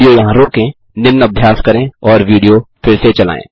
video यहाँ रोकें निम्न अभ्यास करें और विडियो फिर से चलायें